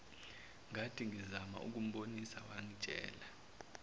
ngathingizama ukumbonisa wangitshela